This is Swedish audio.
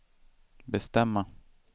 bestämma